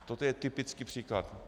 Toto je typický příklad.